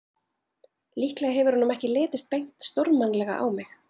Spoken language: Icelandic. Líklega hefur honum ekki litist beint stórmannlega á mig.